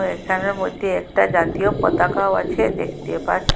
এখানের মইদ্যে একটা জাতীয় পতাকাও আছে দেখতে পা--